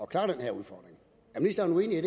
klare den her udfordring er ministeren uenig